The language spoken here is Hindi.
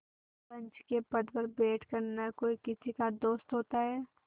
पंच के पद पर बैठ कर न कोई किसी का दोस्त होता है